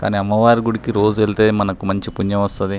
కానీ అమ్మవారి గుడికి రోజు వెళ్తే మనకి మంచి పుణ్యం వస్తది.